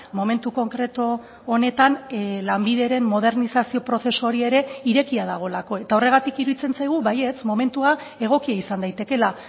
momentu konkretu honetan lanbideren modernizazio prozesu hori ere irekia dagoelako eta horregatik iruditzen zaigu baietz momentua egokia izan daitekela